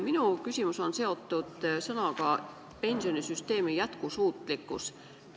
Minu küsimus on seotud sõnapaariga "pensionisüsteemi jätkusuutlikkus".